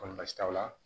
Komi basi t'aw la